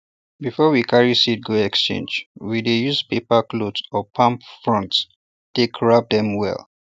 before we carry seeds go exchange we dey use paper cloth or palm fronds take wrap dem well